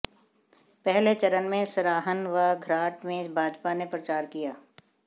पहले चरण में सराहन व घराट में भाजपा ने प्रचार किया